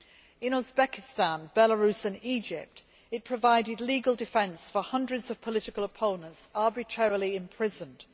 in Uzbekistan, Belarus and Egypt it provided legal defence for hundreds of political opponents arbitrarily imprisoned.